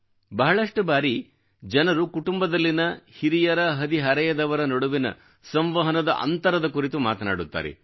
ಬಹಳಷ್ಟು ಬಾರಿ ಜನರು ಕುಟುಂಬದಲ್ಲಿನ ಹಿರಿಯರಹದಿಹರೆಯದವರ ನಡುವಿನ ಸಂವಹನದ ಅಂತರದ ಕುರಿತು ಮಾತನಾಡುತ್ತಾರೆ